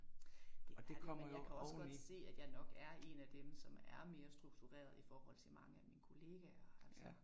Det er det. Men jeg kan også godt se, at jeg nok er en af dem, som er mere strukturerede i forhold til mange af mine kollegaer altså